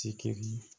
Tikiri